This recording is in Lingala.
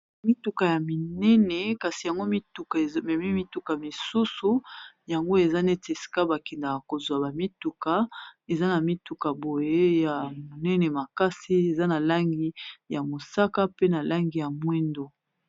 Mituka ya minene kasi yango mituka ememi mituka misusu yango eza neti esika bakendaka kozwa ba mituka eza na mituka boye ya monene makasi eza na langi ya mosaka pe na langi ya mwindo.